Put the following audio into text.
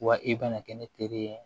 Wa i bɛna kɛ ne teri ye